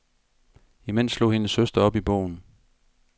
Imens slog hendes søster op i bogen.